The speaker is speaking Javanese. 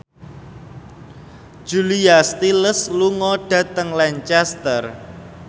Julia Stiles lunga dhateng Lancaster